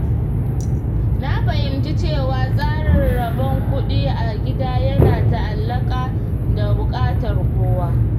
Na fahimci cewa tsarin rabon kuɗi a gida yana ta'allaƙa da buƙatar kowa.